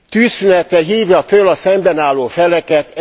Tűzszünetre hívja föl a szemben álló feleket.